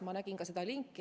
Ma nägin seda linki.